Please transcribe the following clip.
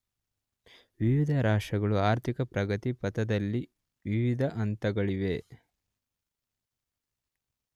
ವಿವಿಧ ರಾಷ್ಟ್ರಗಳು ಆರ್ಥಿಕ ಪ್ರಗತಿ ಪಥದಲ್ಲಿ ವಿವಿಧ ಹಂತಗಳಲ್ಲಿವೆ.